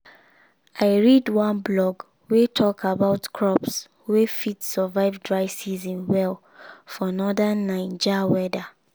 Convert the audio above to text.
i read one blog wey talk about crops wey fit survive dry season well for northern naija weather